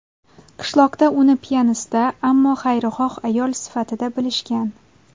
Qishloqda uni piyonista, ammo xayrixoh ayol sifatida bilishgan.